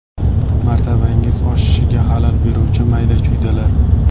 Martabangiz oshishiga xalal beruvchi mayda-chuydalar.